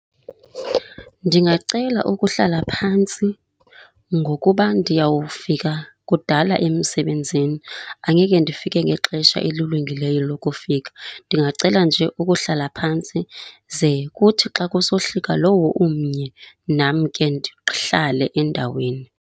Ndingacela ukuhlala phantsi ngokuba ndiyawufika kudala emsebenzini, angeke ndifike ngexesha elilungileyo lokufika. Ndingacela nje ukuhlala phantsi ze kuthi xa kusohlika lowo umnye, nam ke ndihlale endaweni.